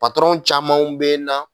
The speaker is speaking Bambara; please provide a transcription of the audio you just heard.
camanw bɛ n na